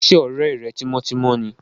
Ṣé ọ̀rẹ́ rẹ tímọ́tímọ́ ni?